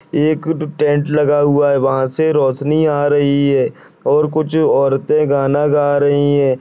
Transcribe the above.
एक टे-टेंट लगा हुवा है वहा से रोशनी आ रही है और कुछ ओरते गाना गा रही हैं।